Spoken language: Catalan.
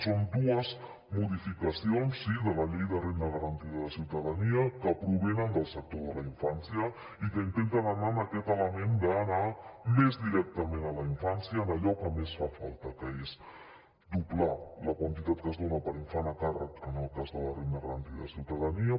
són dues modificacions sí de la llei de renda garantida de ciutadania que provenen del sector de la infància i que intenten anar en aquest element d’anar més directament a la infància en allò que més fa falta que és doblar la quantitat que es dona per infant a càrrec en el cas de la renda garantida de ciutadania